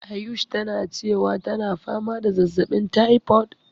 Ayush tana cewa tana fama da zazzaɓin typhoid.